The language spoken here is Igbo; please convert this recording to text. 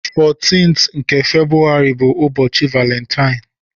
14th nke Febrụwarị bụ ụbọchị Valentine.